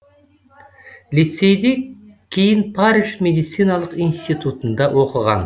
лицейде кейін париж медициналық институтында оқыған